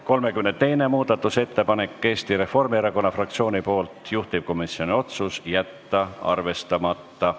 32. muudatusettepanek on Eesti Reformierakonna fraktsioonilt, juhtivkomisjoni otsus on jätta arvestamata.